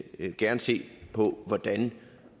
gerne se på hvordan